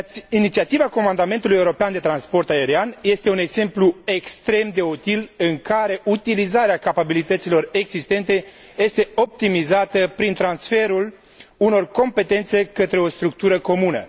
Inițiativa Comandamentului european de transport aerian este un exemplu extrem de util în care utilizarea capabilităților existente este optimizată prin transferul unor competențe către o structură comună.